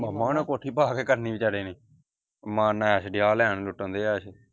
ਮਾਮ ਓਹਨਾ ਕੋਠੀ ਪਾ ਕੇ ਕੀ ਕਰਨੀ ਵਚਾਰੇ ਨੇ ਮਾਰਨ ਐਸ਼ ਡੇਆ ਲੈਣ ਲੁੱਟਣ ਡੇਆ ਐਸ਼।